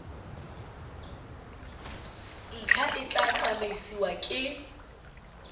ntlha e tla tsamaisiwa ke